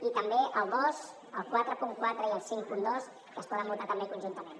i també el dos el quaranta quatre i el cinquanta dos que es poden votar també conjuntament